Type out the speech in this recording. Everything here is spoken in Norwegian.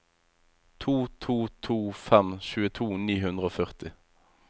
to to to fem tjueto ni hundre og førti